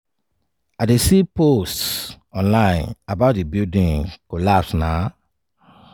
"i dey see posts online about di building collapse na